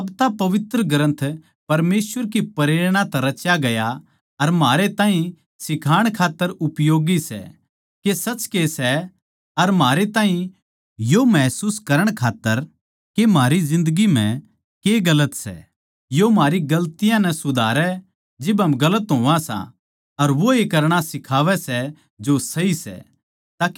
साब्ता पवित्र ग्रन्थ परमेसवर की प्रेरणा तै रच्या गया अर म्हारे ताहीं सिखाण खात्तर उपयोगी सै के सच के सै अर म्हारे ताहीं यो महसूस करण खात्तर के म्हारी जिन्दगी म्ह के गलत सै यो म्हारी गलतियाँ नै सुधारै जिब हम गलत होवां सां अर वोए करणा सिखावै सै जो सही सै